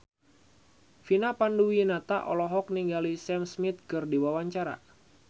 Vina Panduwinata olohok ningali Sam Smith keur diwawancara